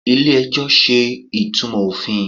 ilé ẹjọ ṣe ìtumò ofín